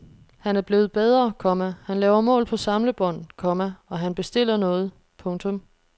Han er blevet bedre, komma han laver mål på samlebånd, komma og han bestiller noget. punktum